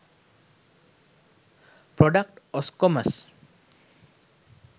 product oscommerce